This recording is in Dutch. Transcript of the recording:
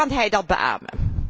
Kan hij dat beamen?